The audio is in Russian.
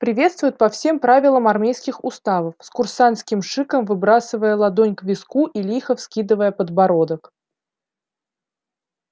приветствуют по всем правилам армейских уставов с курсантским шиком выбрасывая ладонь к виску и лихо вскидывая подбородок